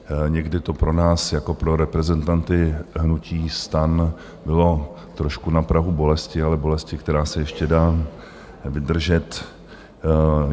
Někdy to pro nás jako pro reprezentanty hnutí STAN bylo trošku na prahu bolesti, ale bolesti, která se ještě dá vydržet.